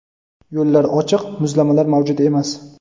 Yo‘llar ochiq, muzlamalar mavjud emas.